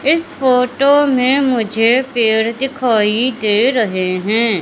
इस फोटो में मुझे पेड़ दिखाई दे रहे हैं।